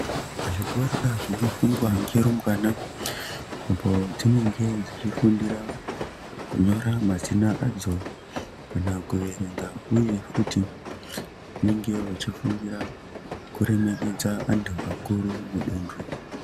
Zvikora zvino fundwa nge rumbwana apo dzinenge dzichi fundira kunyora mazita adzo kana kuverenga uye futi vanenge vechi fundira kuremekedza antu akuru munduntu.